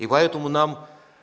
и поэтому нам